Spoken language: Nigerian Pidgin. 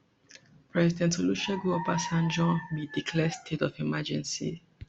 president olusegun obasanjo bin declare state of emergency